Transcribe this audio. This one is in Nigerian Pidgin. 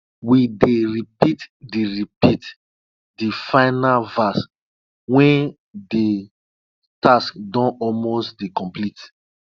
we dey repeat de repeat de final verse wen de task don almost dey complete